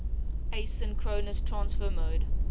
asynchronous transfer mode